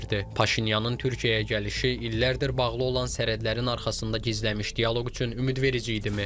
Paşinyanın Türkiyəyə gəlişi illərdir bağlı olan sərhədlərin arxasında gizlənmiş dialoq üçün ümidverici idimi?